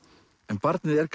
en barnið er